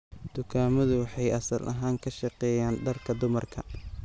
Dukaamadu waxay asal ahaan ka shaqeeyaan dharka dumarka.